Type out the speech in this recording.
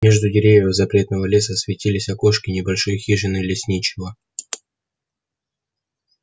между деревьев запретного леса светились окошки небольшой хижины лесничего